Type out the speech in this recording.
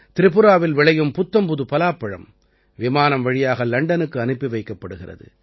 திரிபுராவில் விளையும் புத்தம்புதுப் பலாப்பழம் விமானம் வழியாக லண்டனுக்கு அனுப்பி வைக்கப்படுகிறது